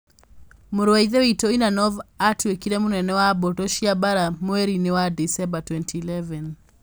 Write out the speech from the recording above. Mũrũ wa Ithe witũ Ivanov aatuĩkire mũnene wa mbũtũ cia mbaara mweri-inĩ wa Dicemba 2011.